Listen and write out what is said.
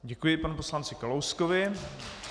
Děkuji panu poslanci Kalouskovi.